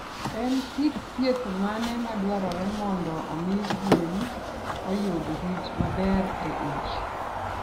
En kit thieth mane madwarore mondo omi gwen oyud rit maber e ich?